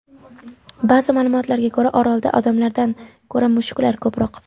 Ba’zi ma’lumotlarga ko‘ra, orolda odamlardan ko‘ra mushuklar ko‘proq.